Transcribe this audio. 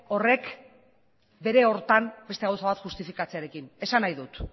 horrek bere horretan beste gauza bat justifikatzearekin esan nahi dut